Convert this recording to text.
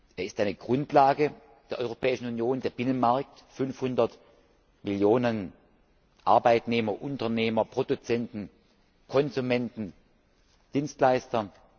Er ist eine Grundlage der Europäischen Union für 500 Millionen Arbeitnehmer, Unternehmer, Produzenten, Konsumenten, Dienstleister!